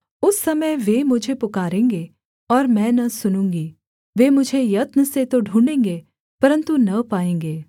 उस समय वे मुझे पुकारेंगे और मैं न सुनूँगी वे मुझे यत्न से तो ढूँढ़ेंगे परन्तु न पाएँगे